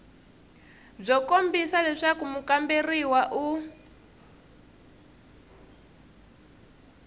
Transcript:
byo kombisa leswaku mukamberiwa u